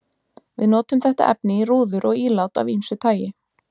Við notum þetta efni í rúður og ílát af ýmsu tagi.